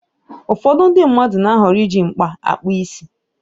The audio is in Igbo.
Ụfọdụ ndị mmadụ na-ahọrọ iji mkpa akpụ isi.